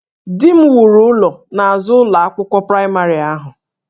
Di m wuru ụlọ n'azụ ụlọ akwụkwọ praịmarị ahụ